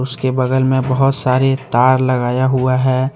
उसके बगल में बहुत सारी तार लगाया हुआ है।